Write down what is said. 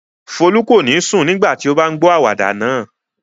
Folú kò ní sùn nígbà tí ó bá ń gbọ àwàdà náà.